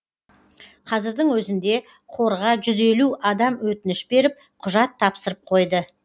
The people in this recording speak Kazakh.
қазірдің өзінде қорға жүз елу адам өтініш беріп құжат тапсырып қойды